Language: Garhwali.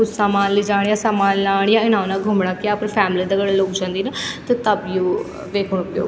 कुछ सामान लेजाण या सामान लाण या इना उना घुमणा क अपड़ी फॅमिली दगड़ लोग जंदिन त तब यू वेखुं उपयोग --